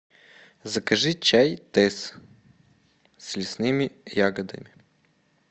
закажи чай тесс с лесными ягодами